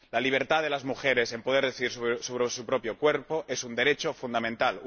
La libertad de las mujeres para poder decidir sobre su propio cuerpo es un derecho fundamental.